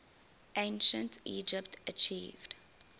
ancient egypt achieved